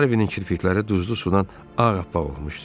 Harvinin kirpikləri duzlu sudan ağappaq olmuşdu.